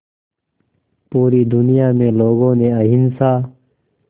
पूरी दुनिया में लोगों ने अहिंसा